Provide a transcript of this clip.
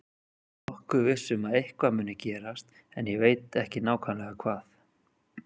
Ég er nokkuð viss um að eitthvað muni gerast en ég veit ekki nákvæmlega hvað.